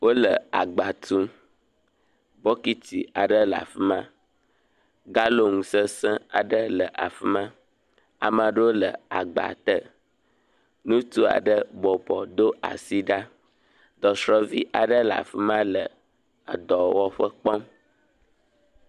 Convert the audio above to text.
Wole agba tum, bɔkiti aɖe le afi ma, galɔn sesẽ aɖe le afi ma, ame aɖewo le agba te, ŋutsu aɖe bɔbɔ do asi ɖa dɔsrɔ̃vi aɖe le afi ma le edɔwɔƒe kpɔm.